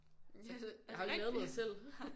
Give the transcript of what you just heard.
Har ikke lavet noget selv